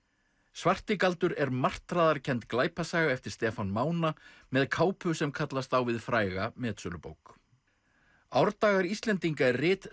svarti galdur er glæpasaga eftir Stefán Mána með kápu sem kallast á við fræga metsölubók árdagar Íslendinga er rit